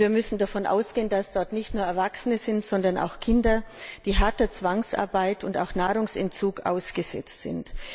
Und wir müssen davon ausgehen, dass dort nicht nur Erwachsene, sondern auch Kinder sind, die harter Zwangsarbeit und auch Nahrungsentzug ausgesetzt sind.